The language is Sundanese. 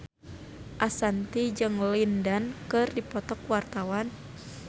Ashanti jeung Lin Dan keur dipoto ku wartawan